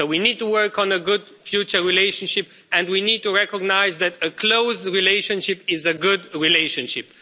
So we need to work on a good future relationship and we need to recognise that a close relationship is a good relationship.